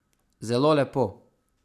Zelo lepo.